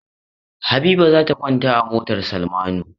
Habiba za ta kwanta a motar Salmanu.